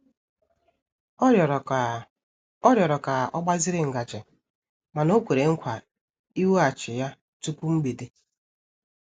Ọ rịọrọ ka Ọ rịọrọ ka ọ gbaziri ngaji mana o kwere nkwa iweghachi ya tupu mgbede.